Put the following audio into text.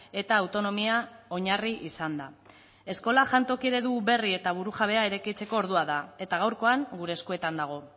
eta autonomia oinarri izanda eskola jantoki eredu berri eta burujabea eraikitzeko ordua da eta gaurkoan gure eskuetan dago